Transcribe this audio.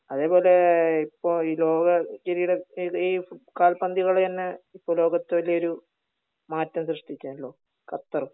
അതെ പോലെ ഇപ്പൊ ഈ ലോക കിരീടത്തിൽ ഈ കാൽപന്ത് കളി തന്നെ ഇപ്പൊ ലോകത്ത് വലിയൊരു മാറ്റം സൃഷ്ടിക്കേണല്ലോ ഖത്തർ